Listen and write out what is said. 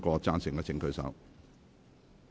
贊成的請舉手。